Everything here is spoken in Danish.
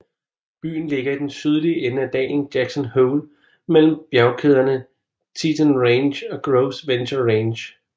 Byen ligger i den sydlige ende af dalen Jackson Hole mellem bjergkæderne Teton Range og Gros Ventre Range